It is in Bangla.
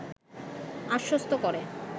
আশ্বস্ত করে